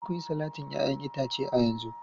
Je ku yi salatin 'ya'yan itace a yanzu!